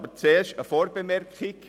Zuerst mache ich eine Vorbemerkung.